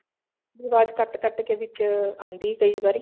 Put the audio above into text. ਤੁਹਾਡੀ ਅਵਾਜ਼ ਕੱਟ ਕੱਟ ਕੇ ਵਿੱਚ ਆਉਂਦੀ ਕਈ ਵਾਰੀ